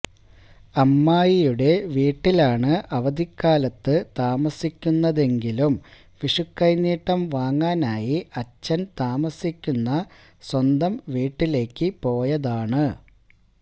അമ്മായിയുടെ വീട്ടിലാണ് അവധിക്കാലത്ത് താമസിക്കുന്നതെങ്കിലും വിഷുക്കൈനീട്ടം വാങ്ങാനായി അച്ഛന് താമസിക്കുന്ന സ്വന്തം വീട്ടിലേക്ക് പോയതാണ്